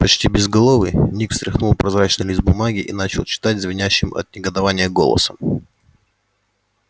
почти безголовый ник встряхнул прозрачный лист бумаги и начал читать звенящим от негодования голосом